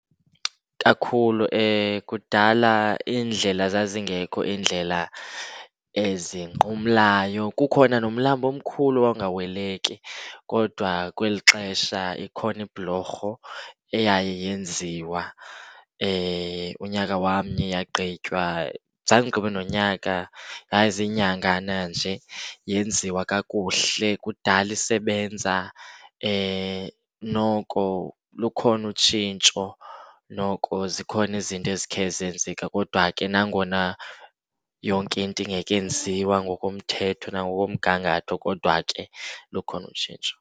Kakhulu kudala iindlela zazingekho iindlela ezinqumlayo, kukhona nomlambo omkhulu owawungaweleki. Kodwa kweli xesha ikhona ibhulorho eyaye yenziwa unyaka wamnye yagqitywa. Zange igqibe nonyaka, yayiziinyangana nje. Yenziwa kakuhle kudala isebenza. Noko lukhona utshintsho, noko zikhona izinto ezikhe zenzeka kodwa ke nangona yonke into ingekenziwa ngokomthetho nangokomgangatho kodwa ke lukhona utshintsho.